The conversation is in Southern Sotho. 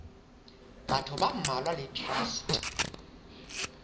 batho ba mmalwa le traste